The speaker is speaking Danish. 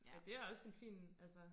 Ja det også en fin altså